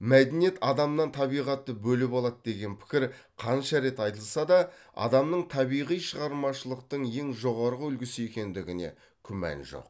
мәдениет адамнан табиғатты бөліп алады деген пікір қанша рет айтылса да адамның табиғи шығармашылықтың ең жоғары үлгісі екендігіне күмән жоқ